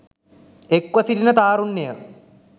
එක්ව සිටින තාරුණ්‍යය